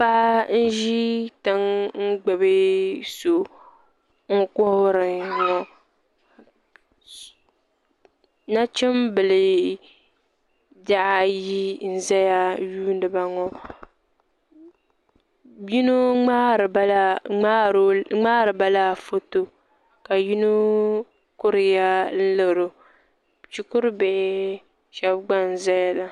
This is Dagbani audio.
Paɣa n ʒi tiŋ n gbubi so n kuhuri ŋo nachimbihi ayi n ʒɛya n yuundiba ŋo yino ŋmaaribala foto ka yino kuriya laro shikuru bihi shab gba n ʒɛya maa